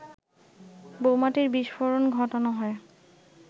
বোমাটির বিস্ফোরণ ঘটানো হয়